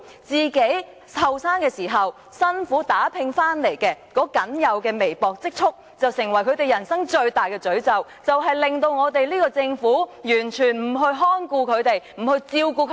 他們在年青時辛苦打拼得來僅有的微薄積蓄，成為他們人生最大的詛咒，令政府完全不去看顧他們、不去照顧他們。